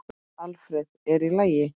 Alfreð, er í lagi?